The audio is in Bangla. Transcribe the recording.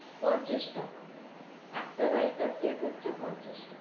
পঞ্চাশ টাকা একটা রায়তার plate হচ্ছে পঞ্চাশ টাকা।